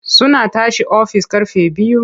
Suna tashi daga ofis ƙarfe biyu.